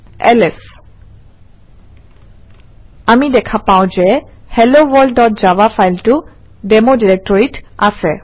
LS আমি দেখা পাওঁ যে helloworldজাভা ফাইলটো ডেমো ডিৰেক্টৰীত আছে